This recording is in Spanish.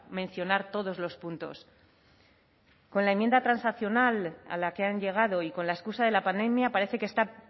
mencionar todos los puntos con la enmienda transaccional a la que han llegado y con la excusa de la pandemia parece que está